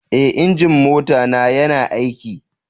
Eh, injin mota na ya na aiki.